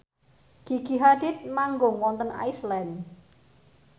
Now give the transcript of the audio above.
Gigi Hadid manggung wonten Iceland